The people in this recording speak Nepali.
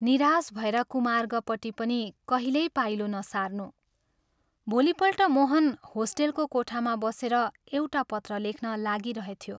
निराश भएर कुमार्गपट्टि पनि कहिल्यै पाइलो नसार्नू।" भोलिपल्ट मोहन होस्टेलको कोठामा बसेर एउटा पत्र लेख्न लागिरहेथ्यो।